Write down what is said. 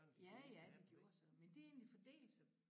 Ja ja de gjorde de så men de har egentlig fordelt sig